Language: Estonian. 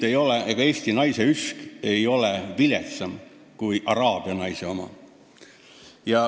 Ega eesti naise üsk ei ole tegelikult viletsam kui araabia naise oma.